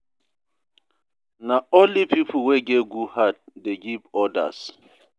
Na only pipo wey get good heart dey give odas.